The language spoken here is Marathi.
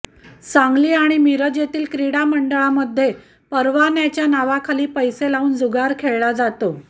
सांगली आणि मिरजेतील क्रीडा मंडळांमध्ये परवान्याच्या नावाखाली पैसे लावून जुगार खेळला जातो